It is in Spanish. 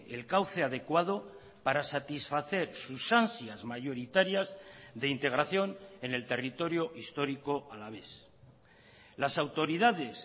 el cauce adecuado para satisfacer sus ansias mayoritarias de integración en el territorio histórico alavés las autoridades